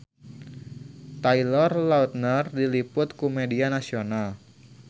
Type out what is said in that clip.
Taylor Lautner diliput ku media nasional